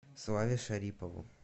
славе шарипову